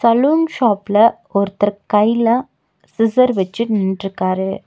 Salon ஷாப்ல ஒருத்தர் கைல சிசர் வெச்சி நின்ட்ருக்காரு.